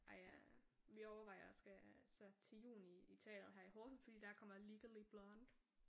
Ej jeg vi overvejer at skal så til juni i teateret her i Horsens fordi der kommer Legally blonde